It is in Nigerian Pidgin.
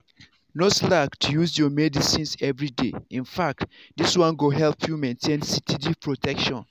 no slack to use your medicines everyday infact this one go help you maintain steady protection.